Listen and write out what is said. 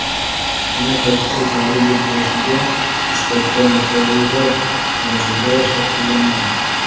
ayni paytda joriy yil boshiga nisbatan yuqoriroq darajada shakllangan.